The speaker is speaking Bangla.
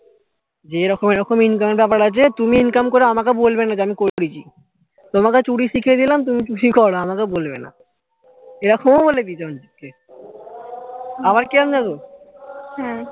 যে এরকম এরকম income এর ব্যাপার আছে তুমি income করে আমাকে বলবে না যে আমি করেছি তোমাকে চুরি শিখিয়ে দিলাম তুমি চুরি করো আমাকে বলবে না এরকমও বলে দিয়েছে অঞ্চিত কে আবার কিরম দেখো